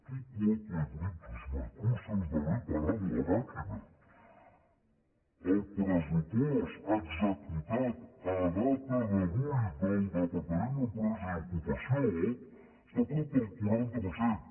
tu quoque brutus m’acuses d’haver parat la màquina el pressupost executat a data d’avui del departament d’empresa i ocupació està prop del quaranta per cent